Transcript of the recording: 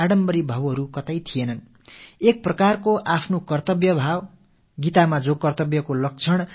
இத்தனை பெரிய தவமியற்றிய பின்னரும் கூட தங்கள் தியாகங்களை விலைபொருளாக்கும் உணர்வேதும் அவர்கள் முகங்களில் சிறிதளவும் தென்படவே இல்லை